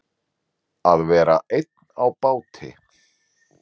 Að vera einn á báti